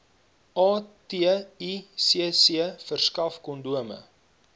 aticc verskaf kondome